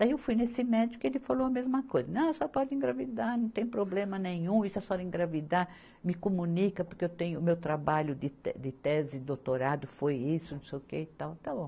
Daí eu fui nesse médico e ele falou a mesma coisa, não, a senhora pode engravidar, não tem problema nenhum, e se a senhora engravidar, me comunica porque eu tenho o meu trabalho de tese, doutorado, foi isso, não sei o que e tal, tá bom.